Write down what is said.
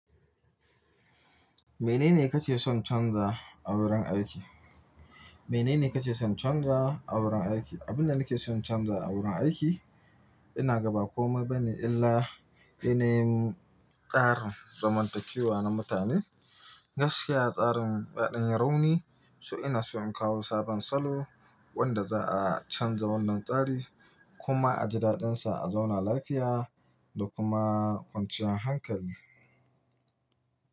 Menene kake son canza a wurin aiki? Menene kake son canza a wurin aiki? Abin da nake son canza a wurin aiki, ina gaba komai bane illa, shine tsarin zaman takewa na mutane. Gaskiya tsarin ya ɗan yi rauni, so ina so in kawo sabon salo wanda za a canza wannan tsari kuma a ji daɗin sa, a zauna lafiya da kuma kwanciyar hankali.